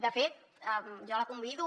de fet jo la convido